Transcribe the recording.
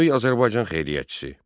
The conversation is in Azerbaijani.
Böyük Azərbaycan xeyriyyətçisi.